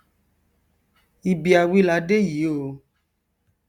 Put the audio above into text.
ibi a wí la dé yìí o